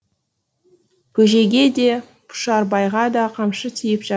бөжейге де пұшарбайға да қамшы тиіп жат